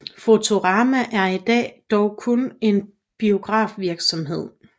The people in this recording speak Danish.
Fotorama er i dag dog kun en biografvirksomhed